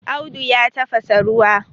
Audu ya tafasa ruwa